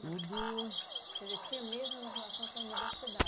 Tudo... Quer dizer, tinha mesmo uma relação com a universidade.